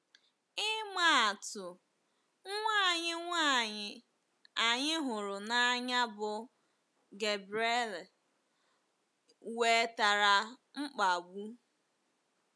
Ịma atụ, nwa anyị nwanyị anyị hụrụ n’anya bụ́ Gabriele nwetara mkpagbu.